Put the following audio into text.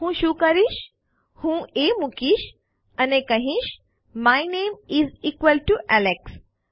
હું શું કરીશ હું એ મુકીશ અને કહીશ my name is equals to Alex